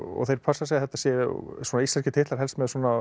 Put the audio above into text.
þeir passa sig að þetta séu íslenskir titlar helst með